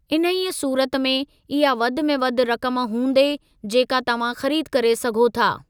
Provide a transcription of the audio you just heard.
इन्हीअ सूरत में, इहा वधि में वधि रक़म हूंदे जेका तव्हां ख़रीद करे सघो था।